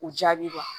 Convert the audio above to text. U jaabi